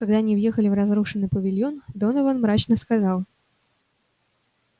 когда они въехали в разрушенный павильон донован мрачно сказал